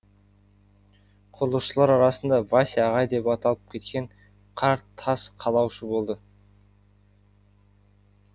құрылысшылар арасында вася ағай деп аталып кеткен қарт тас қалаушы болды